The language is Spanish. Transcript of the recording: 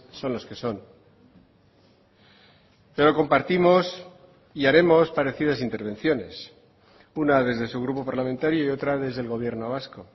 son los que son pero compartimos y haremos parecidas intervenciones una desde su grupo parlamentario y otra desde el gobierno vasco